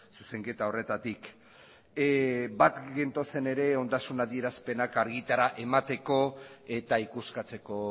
zuzenketa horretatik bat gentozen ere ondasun adierazpenak argitara emateko eta ikuskatzeko